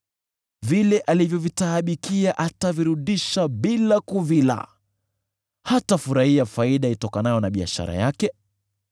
Vile alivyovitaabikia atavirudisha bila kuvila; hatafurahia faida itokanayo na biashara yake.